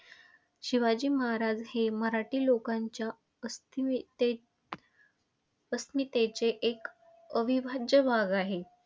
शिवाजी महाराज हे मराठी लोकांच्या अस्मितेत अस्मितेचे एक अविभाज्य भाग आहेत.